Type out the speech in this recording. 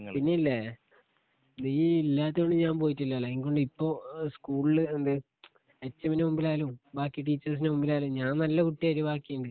പിന്നില്ലെ നീ ഇല്ലാത്തോണ്ട് ഞാൻ പോയിട്ടില്ലല്ലെങ്കിണ്ട് ഇപ്പൊ സ്കൂൾല് എന്തെ എച്ചമ്മിൻ്റെ മുമ്പിലായാലും ബാക്കി ടീച്ചേയ്സിൻ്റെ മുമ്പിലായാലും നജ്ൻ നല്ല കുട്ടിയായി ബാക്കിണ്ട്